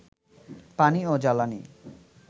পানি ও জ্বালানি